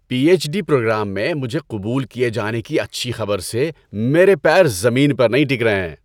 پی H D program میں مجھے قبول کیے جانے کی اچھی خبر سے میرے پیر زمین پر ٹک نہیں رہے ہیں۔